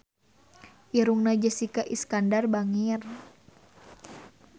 Irungna Jessica Iskandar bangir